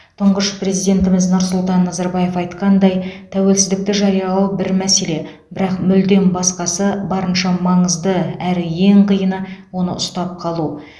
тұңғыш президентіміз нұрсұлтан назарбаев айтқандай тәуелсіздікті жариялау бір мәселе бірақ мүлдем басқасы барынша маңызды әрі ең қиыны оны ұстап қалу